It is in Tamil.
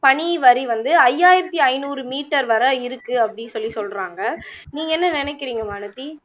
பனிவரி வந்து ஐயாயிரத்துஐந்நூறு meter வரை இருக்கு அப்படின்னு சொல்லி சொல்லுறாங்க நீங்க என்ன நினைக்கிறிங்க வானதி